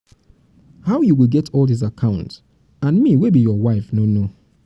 how you go get all dis all dis account and me wey be your wife no know